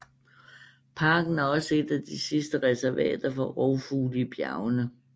Parken er også et af de sidste reservater for rovfugle i bjergene